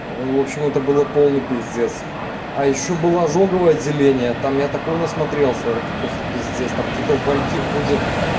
ээв общем это было полный пиздец а ещё был ожоговое отделение там я такого насмотрелся это просто пиздец там какие-то угольки ходят